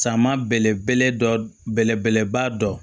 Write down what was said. Sama bɛlɛ bɛlɛ dɔ bɛlɛbɛlɛba dɔ